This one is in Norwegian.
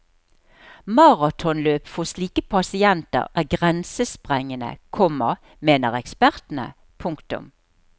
Maratonløp for slike pasienter er grensesprengende, komma mener ekspertene. punktum